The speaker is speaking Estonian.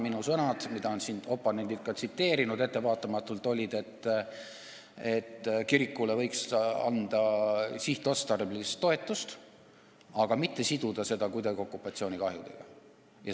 Minu sõnad, mida on oponendid siin ka ettevaatamatult tsiteerinud, olid, et kirikule võiks anda sihtotstarbelist toetust, aga mitte siduda seda kuidagi okupatsioonikahjudega.